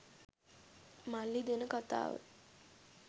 මල්ලි දෙන කතාව